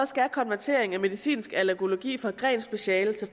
skal konverteringen af medicinsk allergologi fra grenspeciale til